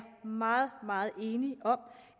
meget meget enig i